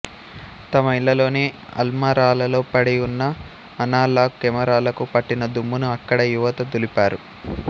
తమ ఇళ్ళలోని అల్మారాలలో పడి ఉన్న అనలాగ్ కెమెరాలకు పట్టిన దుమ్మును అక్కడి యువత దులిపారు